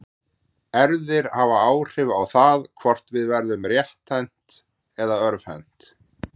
Erfðir hafa áhrif á það hvort við verðum rétthent eða örvhent.